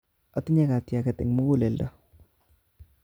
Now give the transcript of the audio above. Atinye katya'ket en muguleldo